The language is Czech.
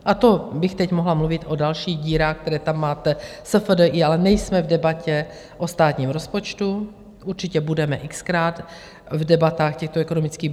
A to bych teď mohla mluvit o dalších dírách, které tam máte, SFDI, ale nejsme v debatě o státním rozpočtu, určitě budeme x-krát v debatách těchto ekonomických.